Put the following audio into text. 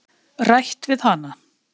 Rætt við hana.